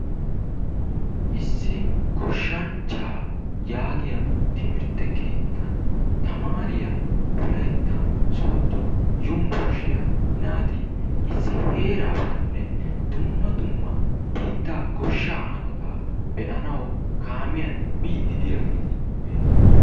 issi goshshanchaa yaagioya timmirte keetan ytamaariya wolayta soodo yunbueshshiya tamaare naati dumma dumma biittaa goshshaa hanotaa be'anawu biidi diyageeti beetoososna.